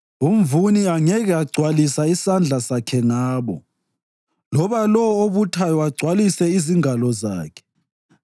umvuni angeke agcwalisa isandla sakhe ngabo, loba lowo obuthayo agcwalise izingalo zakhe.